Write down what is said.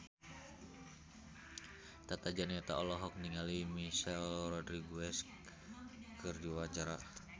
Tata Janeta olohok ningali Michelle Rodriguez keur diwawancara